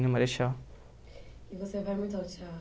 na Marechal. E você vai muito ao teatro?